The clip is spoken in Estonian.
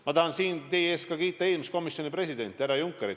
Ma tahan siin teie ees kiita eelmist komisjoni presidenti härra Junckerit.